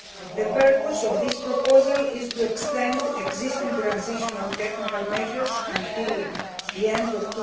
The purpose of this proposal is to extend existing transitional technical measures until the end of